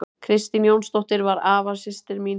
Kristín Jónsdóttir var afasystir mín.